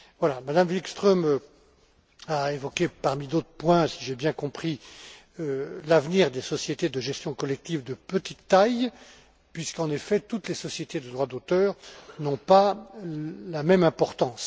Mme Wikström a évoqué, parmi d'autres points, si j'ai bien compris, l'avenir des sociétés de gestion collective de petite taille, puisqu'en effet, toutes les sociétés de droits d'auteur n'ont pas la même importance.